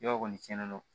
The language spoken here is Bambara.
Yɔrɔ kɔni cɛnnen don